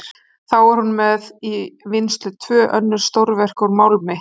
Þá er hún með í vinnslu tvö önnur stórverk úr málmi.